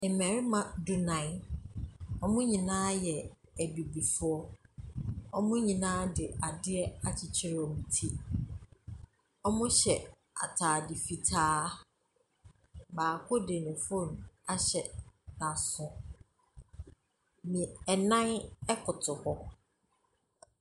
Mmarima nnan, wɔn nyinaa yɛ abibifoɔ, wɔ mo nyinaa de adeɛ akyekyere wɔn ti. Ɔmo hyɛ ataade fitaa. Baako de ne fon ahyɛ na aso, nnan ɛkoto hɔ.